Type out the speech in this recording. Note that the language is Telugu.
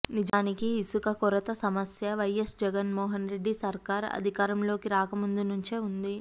నిజానికి ఇసుక కొరత సమస్య వైఎస్ జగన్మోహన్రెడ్డి సర్కారు అధికారంలోకి రాక ముందునుంచే ఉంది